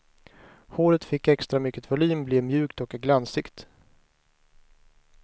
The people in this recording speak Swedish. Håret fick extra mycket volym, blev mjukt och glansigt.